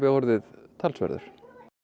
orðið talsverður